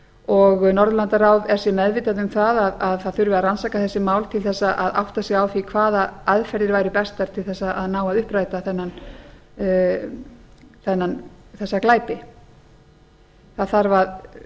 og norðurlandaráð er sér meðvitað um það að það þurfi að rannsaka þessi mál til að átta sig á því hvaða aðferðir væru bestar til að ná að uppræta þessa glæpi það þarf að